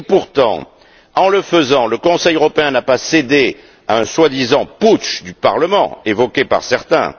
pourtant, ce faisant, le Conseil européen n'a pas cédé à un soi disant putsch du Parlement, évoqué par certains.